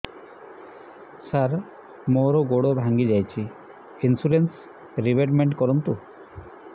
ସାର ମୋର ଗୋଡ ଭାଙ୍ଗି ଯାଇଛି ଇନ୍ସୁରେନ୍ସ ରିବେଟମେଣ୍ଟ କରୁନ୍ତୁ